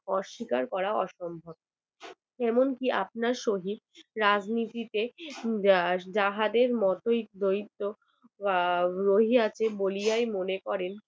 অস্বীকার করাও অসম্ভব। এমনকি আপনার সহিত রাজনীতিতে জাহাজের মতই দৈত্য রহি আছে বলিয়ায় মনে করেন